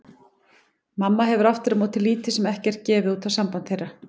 Mamma hefur aftur á móti lítið sem ekkert gefið út á samband þeirra.